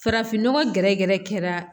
Farafinnɔgɔ gɛrɛ gɛrɛ kɛra